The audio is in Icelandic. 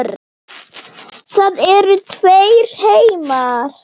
Það eru tveir heimar.